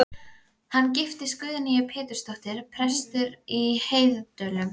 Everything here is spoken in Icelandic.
Vinkonur hennar og gamlar skólasystur á Eskifirði litu hana öfundaraugum.